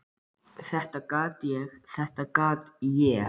Þetta gat ég, þetta gat ég!